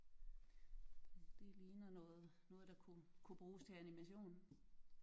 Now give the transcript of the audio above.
Det det ligner noget noget der kunne kunne bruges til animation